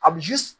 A bi